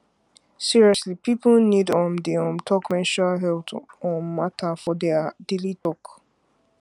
seriously people need um dey um talk menstrual health um matter for their daily talk